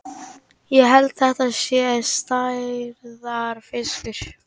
Ég held þetta sé stærðarfiskur!